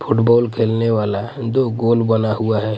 Football खेलने वाला दो गोल बना हुआ है.